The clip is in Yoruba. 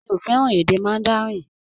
Mi ò fẹ́ràn èdè Mandarin.